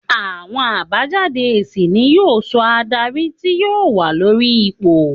Àwọn àbájáde èsì ni yóò sọ adarí tí yóò wà lórí ipò